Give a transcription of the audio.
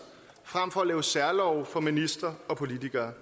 frem for at lave særlove for ministre og politikere